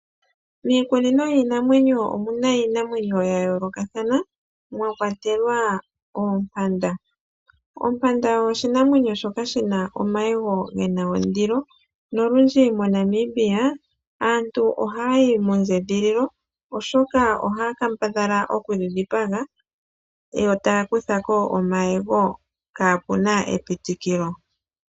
Miikunino yiinamwenyo omuna iinamwenyo ya yoolokathana mwa kwatelwa oompanda. Ompanda oyo oshinamwenyo shoka shina omayego gena ondilo nolundji moNamibia aantu ohaya yi mondjedhililo oshoka ohaya kambadhala okudhi dhipaga yo taya kutha ko omayego kaa puna epitikilo.